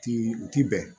Ti u ti bɛn